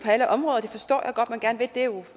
alle områder og det forstår